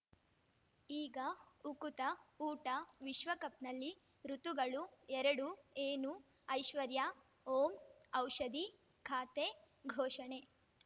ಈಗ ಉಕುತ ಊಟ ವಿಶ್ವಕಪ್‌ನಲ್ಲಿ ಋತುಗಳು ಎರಡು ಏನು ಐಶ್ವರ್ಯಾ ಓಂ ಔಷಧಿ ಖಾತೆ ಘೋಷಣೆ